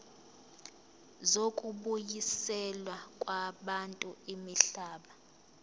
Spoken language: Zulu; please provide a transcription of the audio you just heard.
zokubuyiselwa kwabantu imihlaba